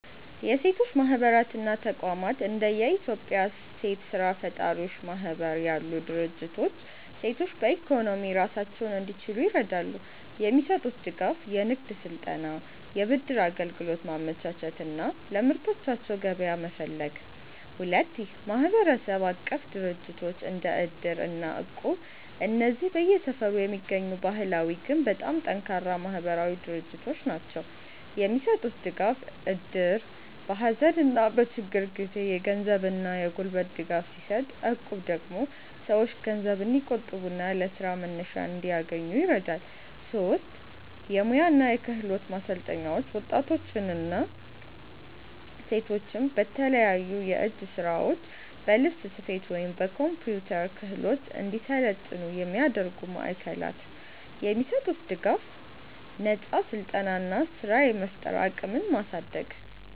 1. የሴቶች ማህበራት እና ተቋማት እንደ የኢትዮጵያ ሴት ስራ ፈጣሪዎች ማህበር ያሉ ድርጅቶች ሴቶች በኢኮኖሚ ራሳቸውን እንዲችሉ ይረዳሉ። የሚሰጡት ድጋፍ፦ የንግድ ስልጠና፣ የብድር አገልግሎት ማመቻቸት እና ለምርቶቻቸው ገበያ መፈለግ። 2. ማህበረሰብ-አቀፍ ድርጅቶች (እድር እና እቁብ) እነዚህ በየሰፈሩ የሚገኙ ባህላዊ ግን በጣም ጠንካራ ማህበራዊ ድርጅቶች ናቸው። የሚሰጡት ድጋፍ፦ እድር በሀዘንና በችግር ጊዜ የገንዘብና የጉልበት ድጋፍ ሲሰጥ፣ እቁብ ደግሞ ሰዎች ገንዘብ እንዲቆጥቡና ለስራ መነሻ እንዲያገኙ ይረዳል። 3. የሙያ እና የክህሎት ማሰልጠኛዎች ወጣቶችና ሴቶች በተለያዩ የእጅ ስራዎች፣ በልብስ ስፌት ወይም በኮምፒውተር ክህሎት እንዲሰለጥኑ የሚያደርጉ ማዕከላት። የሚሰጡት ድጋፍ፦ ነፃ ስልጠና እና ስራ የመፍጠር አቅምን ማሳደግ።